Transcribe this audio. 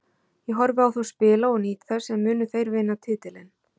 Ég horfi á þá spila og nýt þess en munu þeir vinna titilinn?